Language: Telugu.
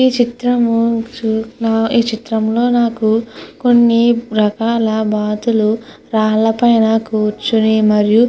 ఈ చిత్రము ఈ చిత్రంలో నాకు కొన్ని రకాల బాతులు రాళ్ల పైన కూర్చొని మరియు --